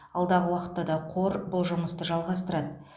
алдағы уақытта да қор бұл жұмысты жалғастырады